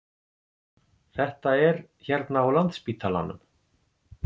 Þetta er hérna á Landspítalanum.